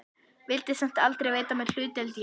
Vildi samt aldrei veita mér hlutdeild í henni.